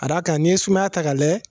A ka d'a kan n'i ye sumaya ta ka lajɛ